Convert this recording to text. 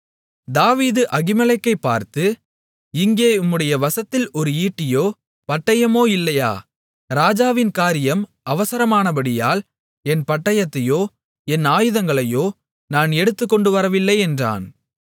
தாவீது அகிமெலேக்கைப் பார்த்து இங்கே உம்முடைய வசத்தில் ஒரு ஈட்டியோ பட்டயமோ இல்லையா ராஜாவின் காரியம் அவசரமானபடியால் என் பட்டயத்தையோ என் ஆயுதங்களையோ நான் எடுத்துக்கொண்டுவரவில்லை என்றான்